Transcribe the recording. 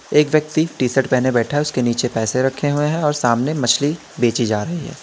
एक व्यक्ति T shirt पहने बैठा है उसके नीचे पैसे रखे हुए हैं और सामने मछली बेची जा रही है।